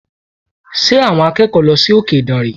Ṣé àwọn akẹ́kọ̀ọ́ lọ sí òkè ìdànrè?